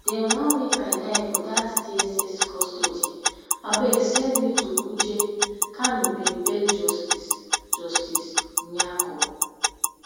dem wan make i die for dat dss custody abeg send me to kuje kanu bin beg justice justice nyako